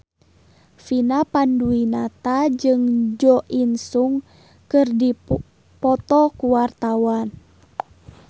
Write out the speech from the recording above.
Vina Panduwinata jeung Jo In Sung keur dipoto ku wartawan